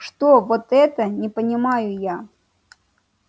что вот это не понимаю я